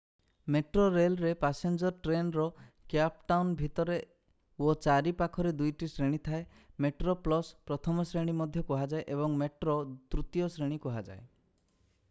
Metro rail ରେ passenger train ରେ Cape Town ଭିତରେ ଓ ଚାରି ପାଖରେ ଦୁଇଟି ଶ୍ରେଣୀ ଥାଏ: ମେଟ୍ରୋ ପ୍ଲସ ପ୍ରଥମ ଶ୍ରେଣୀ ମଧ୍ୟ କୁହାଯାଏ ଏବଂ ମେଟ୍ରୋ ତୃତୀୟ ଶ୍ରେଣୀ କୁଆହାଯାଏ।